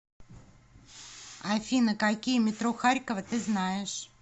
афина какие метро харькова ты знаешь